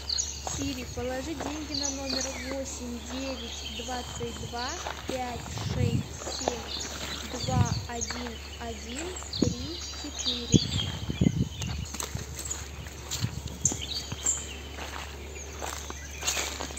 сири положи деньги на номер восемь девять двадцать два пять шесть семь два один один три четыре